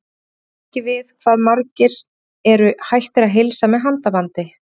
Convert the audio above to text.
Já, ég kann ekki við hvað margir eru hættir að heilsa með handabandi.